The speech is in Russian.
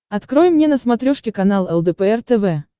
открой мне на смотрешке канал лдпр тв